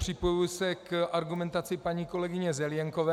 Připojuji se k argumentaci paní kolegyně Zelienkové.